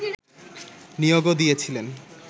নিয়োগও দিয়েছিলেন